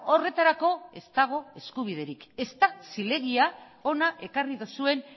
horretarako ez dago eskubiderik ez da zilegia hona ekarri duzuen